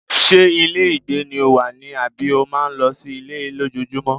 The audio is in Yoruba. Ṣé ilé ìgbé ni o wà ni àbí o máa ń lọ sí ilé lójoojúmọ́?